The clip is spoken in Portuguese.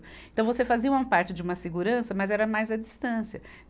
Então, você fazia uma parte de uma segurança, mas era mais à distância.